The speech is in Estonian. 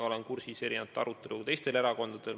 Teiste erakondade aruteludega olen vähem kursis.